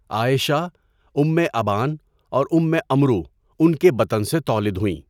عائشہ، Umm Aban اور Umm Amr, ان کے بطن سے تولد ہوئیں۔